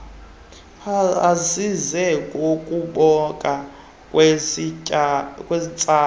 azise ngokubakho kwesitsala